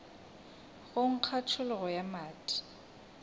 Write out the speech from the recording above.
go nkga tšhologo ya madi